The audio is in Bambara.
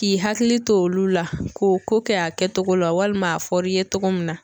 K'i hakili to olu la k'o ko kɛ a kɛcogo la walima a fɔr'i ye cogo min na